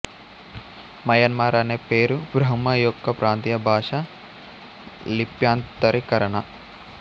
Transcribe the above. Myanmar అనే పేరు బ్రహ్మ యొక్క ప్రాంతీయ భాషా లిప్యంతరీకరణ